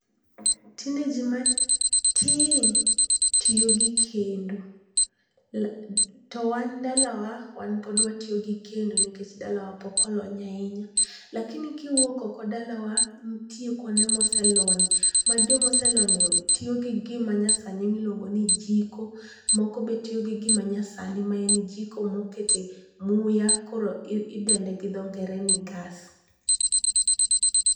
tinde ji matin tiyo gi kendo to wan dalawa wan pod watiyo gi kendo nikech dalawa pok olony ahinya lakini kiwuok oko dalawa nitie kuonde moselony ma jomoselony go tiyo gi gima nyasani iluong'o ni jiko moko be tiyo gi gima nyasani ma en jiko mokete muya koro idendo gi dho ngere ni gas